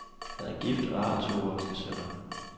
Han er gift og har to voksne sønner.